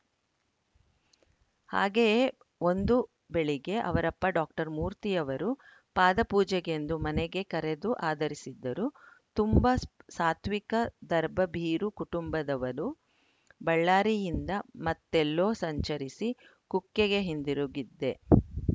ಹಾಗೆಯೇ ಒಂದು ಬೆಳಿಗ್ಗೆ ಅವರಪ್ಪ ಡಾಕ್ಟರ್ ಮೂರ್ತಿಯವರು ಪಾದಪೂಜೆಗೆಂದು ಮನೆಗೆ ಕರೆದು ಆದರಿಸಿದ್ದರು ತುಂಬ ಸ್ ಸಾತ್ವಿಕ ಧರ್ಬಭೀರು ಕುಟುಂಬದವರು ಬಳ್ಳಾರಿಯಿಂದ ಮತ್ತೆಲ್ಲೋ ಸಂಚರಿಸಿ ಕುಕ್ಕೆಗೆ ಹಿಂತಿರುಗಿದ್ದೆ